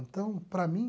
Então, para mim...